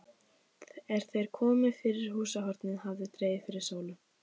Er þeir komu fyrir húshornið hafði dregið fyrir sólu.